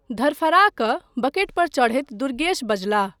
धड़फड़ा कऽ बकेटपर चढ़ैत दुर्गेश बजलाह।